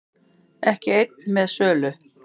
Ekki einn með sölu